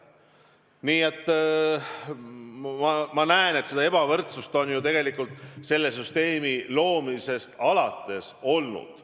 Nii et ma näen, et seda ebavõrdsust on tegelikult selle süsteemi loomisest alates olnud.